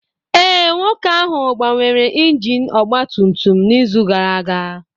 Ee, nwoke ahụ gbanwere injin ọgba tum tum n'izu gara aga